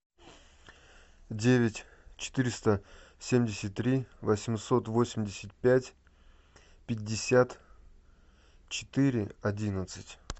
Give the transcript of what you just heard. девять четыреста семьдесят три восемьсот восемьдесят пять пятьдесят четыре одиннадцать